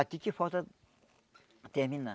Aqui que falta terminar.